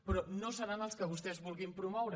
però no seran els que vostès vulguin promoure